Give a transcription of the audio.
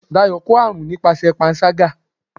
Dayo kọ arún nipasẹ pánṣagá